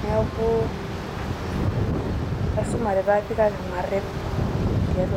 Neeku asumore taa kaki mareep te .